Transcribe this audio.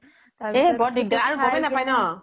এ বৰ দিগ্দাৰ আৰু গমে নাপাই ন